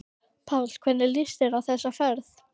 Páll: Hvernig líst þér á þessa ferð?